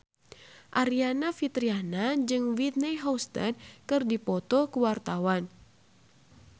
Aryani Fitriana jeung Whitney Houston keur dipoto ku wartawan